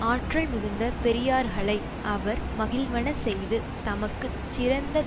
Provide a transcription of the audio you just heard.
ஆற்றல் மிகுந்த பெரியார்களை அவர் மகிழ்வன செய்து தமக்கு சிறந்த